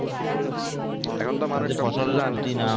এখন তো মানুষ